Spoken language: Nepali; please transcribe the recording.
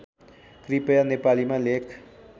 कृपया नेपालीमा लेख